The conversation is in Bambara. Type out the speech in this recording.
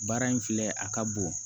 Baara in filɛ a ka bon